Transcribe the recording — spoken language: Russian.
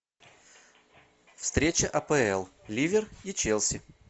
встреча апл ливер и челси